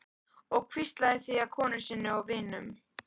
Og hvíslað því að vinkonum sínum og vinum.